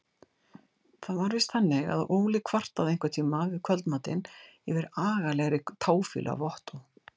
Það var víst þannig að Óli kvartaði einhverntíma við kvöldmatinn yfir agalegri táfýlu af Ottó.